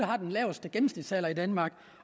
har den laveste gennemsnitsalder i danmark